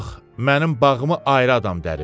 Yox, mənim bağımı ayrı adam dərib.